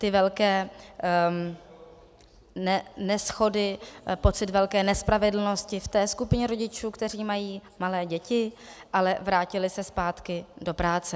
Ty velké neshody, pocit velké nespravedlnosti v té skupině rodičů, kteří mají malé děti, ale vrátili se zpátky do práce.